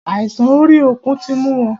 Àìsàn orí òkun tí mú wọn.